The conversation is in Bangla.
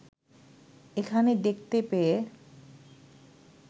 এখানে দেখতে পেয়ে